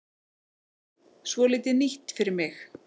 Svolítið nýtt fyrir mig.